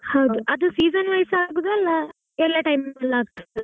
ಹೌದು ಅದು season wise ಆಗುದಾ ಇಲ್ಲ ಎಲ್ಲಾ time ಅಲ್ಲೂ ಆಗ್ತದಾ.